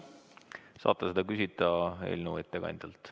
Saate seda küsida eelnõu ettekandjalt.